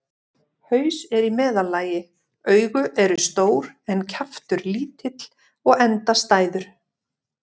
Haus er í meðallagi, augu eru stór en kjaftur lítill og endastæður.